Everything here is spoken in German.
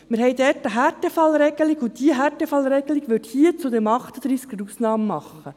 – Wir haben dort eine Härtefallregelung, und diese Härtefallregelung würde hier bei Artikel 38 eine Ausnahme machen.